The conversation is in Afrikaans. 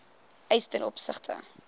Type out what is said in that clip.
eis ten opsigte